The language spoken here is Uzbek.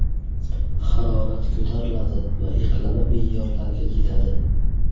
Harorat ko‘tariladi va iqlimiy me’yorlarga yetadi.